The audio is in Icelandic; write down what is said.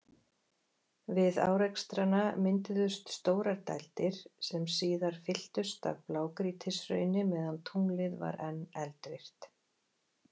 Við árekstrana mynduðust stórar dældir, sem síðar fylltust af blágrýtishrauni meðan tunglið var enn eldvirkt.